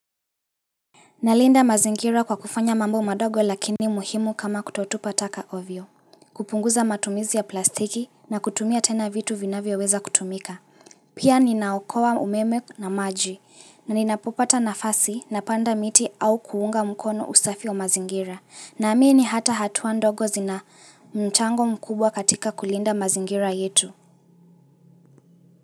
Nalinda mazingira kwa kufanya mambo madogo lakini muhimu kama kutotupa taka ovyo. Kupunguza matumizi ya plastiki na kutumia tena vitu vinavyo weza kutumika. Pia ninaokoa umeme na maji na ninapopata nafasi napanda miti au kuunga mkono usafi wa mazingira. Naamini hata hatua ndogo zina mchango mkubwa katika kulinda mazingira yetu.